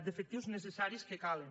d’efectius necessaris que calen